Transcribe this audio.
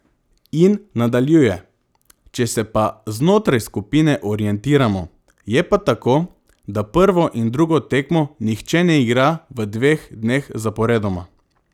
In nadaljuje: "Če se pa znotraj skupine orientiramo, je pa tako, da prvo in drugo tekmo nihče ne igra v dveh dneh zaporedoma.